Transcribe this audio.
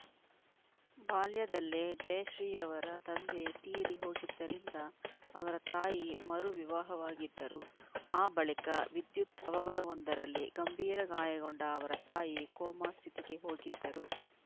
ಬಾಲ್ಯದಲ್ಲೇ ಜಯಶ್ರೀಯವರ ತಂದೆ ತೀರಿ ಹೋಗಿದ್ದರಿಂದ ಅವರ ತಾಯಿ ಮರುವಿವಾಹವಾಗಿದ್ದರು ಆ ಬಳಿಕ ವಿದ್ಯುತ್‌ ಅವಘಡವೊಂದರಲ್ಲಿ ಗಂಭೀರ ಗಾಯಗೊಂಡ ಅವರ ತಾಯಿ ಕೋಮಾ ಸ್ಥಿತಿಗೆ ಹೋಗಿದ್ದರು